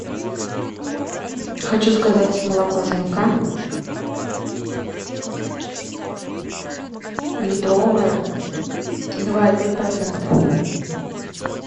хочу заказать молоко змка литровое два и пять процента